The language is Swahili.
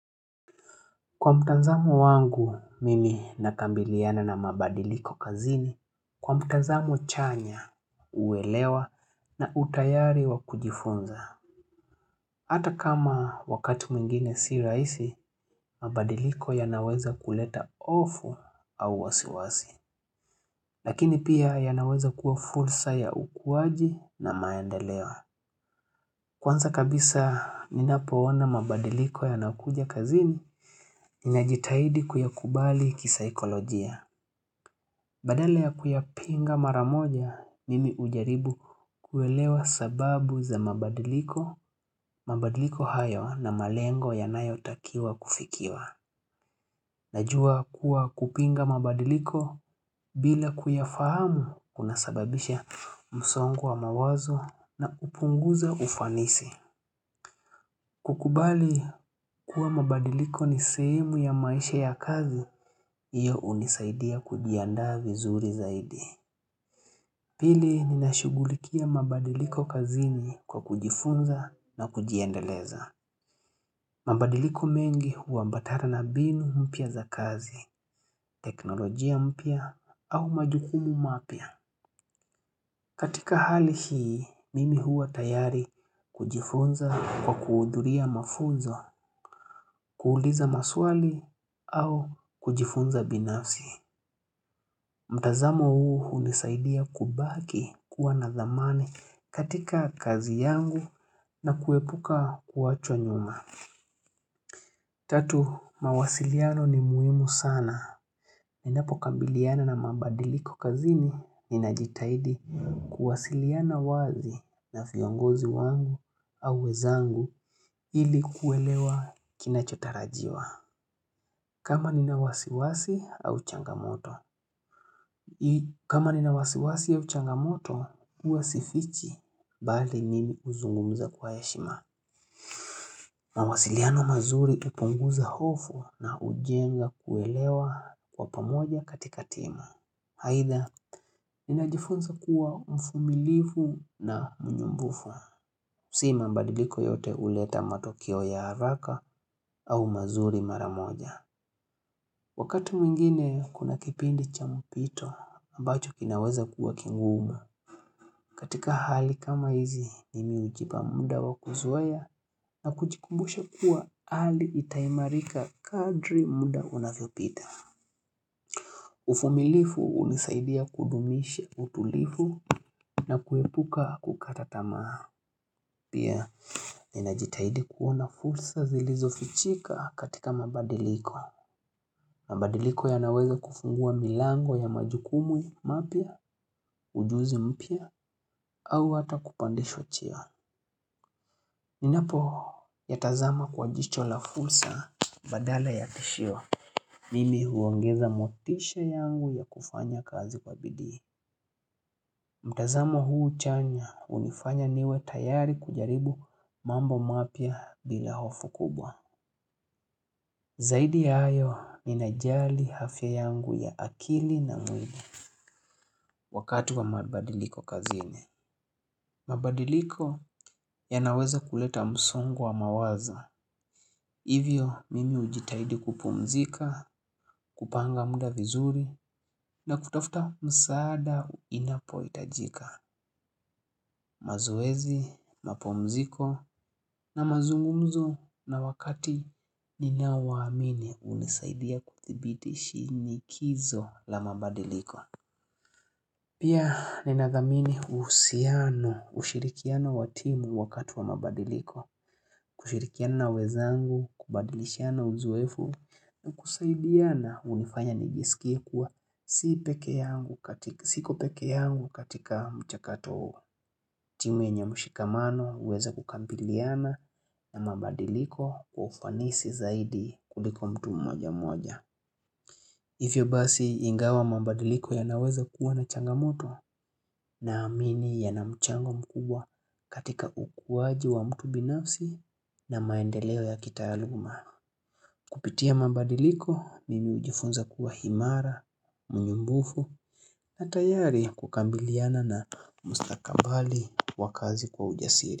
Kwa mtanzamo wangu, mimi nakambiliana na mabadiliko kazini. Kwa mtanzamo chanya, uwelewa na utayari wa kujifunza. Ata kama wakati mwingine si raisi, mabadiliko yanaweza kuleta ofu au wasiwasi. Lakini pia yanaweza kuwa fursa ya ukuwaji na maendeleo. Kwanza kabisa, ninapoona mabadiliko yanakuja kazini, ninajitahidi kuyakubali kisikolojia. Badala ya kuyapinga maramoja, mimi ujaribu kuelewa sababu za mabadiliko, mabadiliko hayo na malengo yanayotakiwa kufikiwa. Najua kuwa kupinga mabadiliko bila kuyafahamu kuna sababisha msongo wa mawazo na upunguza ufanisi. Kukubali kuwa mabadiliko ni sehemu ya maisha ya kazi, iyo unizaidia kujiandaa vizuri zaidi. Pili ninashugulikia mabadiliko kazini kwa kujifunza na kujiendeleza. Mabadiliko mengi huwambatana na binu mpya za kazi, teknolojia mpya au majukumu mapya. Katika hali hii, mimi huwa tayari kujifunza kwa kuudhuria mafunzo, kuuliza maswali au kujifunza binafsi. Mtazamo huu unisaidia kubaki kuwa na dhamani katika kazi yangu na kuepuka kuachwa nyuma. Tatu, mawasiliano ni muhimu sana. Ninapo kambiliana na mabadiliko kazini, ninajitaidi kuwasiliana wazi na viongozi wangu au wezangu ili kuelewa kinachotarajiwa. Kama nina wasiwasi au changamoto. Kama nina wasiwasi au changamoto, uwa sifichi bali nimi uzungumza kwa heshima. Mawasiliano mazuri iponguza hofu na ujenga kuelewa kwa pamoja katika tima. Haidha, ninajifunza kuwa mvumilivu na mnumbufu. Si mabadiliko yote uleta matokio ya haraka au mazuri maramoja. Wakati mwingine kuna kipindi cha mpito, ambacho kinaweza kuwa kingumu. Katika hali kama hizi, nimi ujipa muda wa kuzoea na kuchikumbusha kuwa hali itaimarika kadri muda unavyopita. Uvumilivu unizaidia kudumisha utulivu na kuepuka kukata tamaa. Pia, ninajitaidi kuona fursa zilizofichika katika mabadiliko. Mabadiliko yanaweza kufungua milango ya majukumu mapya, ujuzi mpya au hata kupandeshwa cheo. Ninapoyatazama kwa jicho la fursa badala ya tishio. Mimi huongeza motisha yangu ya kufanya kazi kwa bidii. Mtazama huu chanya unifanya niwe tayari kujaribu mambo mapia bila hofu kubwa. Zaidi ya hayo ninajali afya yangu ya akili na mwili. Wakati wa mabadiliko kazini mabadiliko yanaweza kuleta msungo wa mawazo Hivyo mimi ujitahidi kupumzika, kupanga muda vizuri na kutofta msaada inapo itajika mazoezi, mapumziko na mazungumzo na wakati ninawaamini unizaidia kudhibidi shinikizo la mabadiliko Pia nina dhamini usiano, ushirikiano wa timu wakati wa mabadiliko, kushirikiana na wezaangu, kubadilishiana uzoefu na kusaidiana unifanya nigisikia kuwa siko peke yangu katika mchakato timu enye mushikamano uweza kukampiliana na mabadiliko wa ufanisi zaidi kuliko mtu mmoja mmoja. Ivyo basi ingawa mabadiliko yanaweza kuwa na changamoto naamini yanamchango mkubwa katika ukuwaji wa mtu binafsi na maendeleo ya kitaaluma. Kupitia mabadiliko mimi ujifunza kuwa imara, mwenye nguvu na tayari kukambiliana na mustakambali wa kazi kwa ujasiri.